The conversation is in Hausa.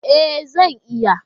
E, zan iya.